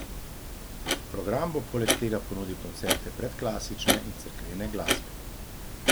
Program bo poleg tega ponudil koncerte predklasične in cerkvene glasbe.